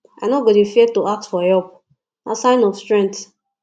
i no go dey fear to ask for help na sign of strength